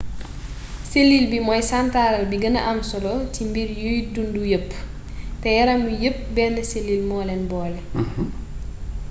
selil bi mooy santaral bi gëna am solo ci mbir yuy dundu yépp te yaram wi yépp benn selil moo leen boole